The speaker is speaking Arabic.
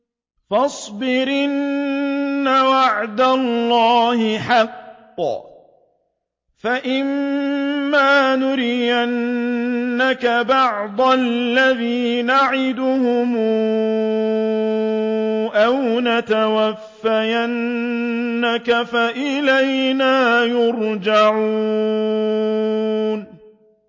فَاصْبِرْ إِنَّ وَعْدَ اللَّهِ حَقٌّ ۚ فَإِمَّا نُرِيَنَّكَ بَعْضَ الَّذِي نَعِدُهُمْ أَوْ نَتَوَفَّيَنَّكَ فَإِلَيْنَا يُرْجَعُونَ